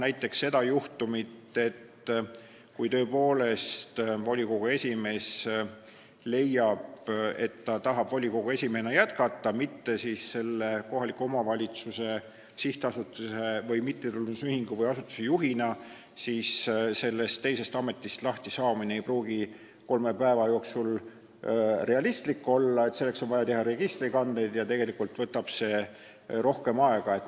Näiteks, kui volikogu esimees tõepoolest leiab, et ta tahab jätkata volikogu esimehena, mitte kohaliku omavalitsuse sihtasutuse või mittetulundusühingu või asutuse juhina, siis sellest teisest ametist lahtisaamine ei pruugi kolme päeva jooksul realistlik olla, sest selleks on vaja teha registrikandeid ja tegelikult võtab see rohkem aega.